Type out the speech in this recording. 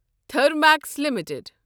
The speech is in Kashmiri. تھرمیکس لِمِٹٕڈ